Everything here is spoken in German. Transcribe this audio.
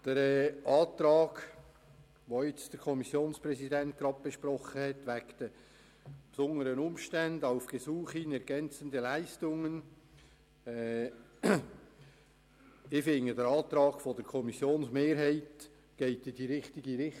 Der Antrag der Kommissionsmehrheit zu den besonderen Umständen – auf Gesuch hin ergänzende Leistungen – geht aus meiner Sicht in die richtige Richtung.